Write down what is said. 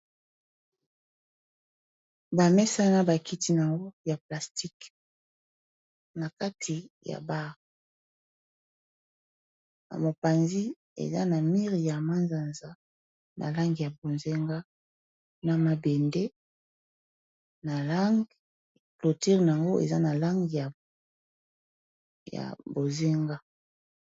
Ba mesa na ba kiti nango ya plastique na kati ya bar na mopanzi eza na mire ya manzanza na lange ya bonzenga na mabende na lange cloture nango eza na lange ya bozenga.